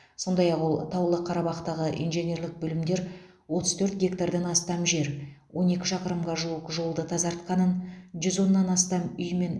сондай ақ ол таулы қарабақтағы инженерлік бөлімдер отыз төрт гектардан астам жер он екі шақырымға жуық жолды тазарқанын жүз оннан астам үй мен